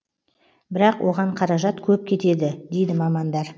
бірақ оған қаражат көп кетеді дейді мамандар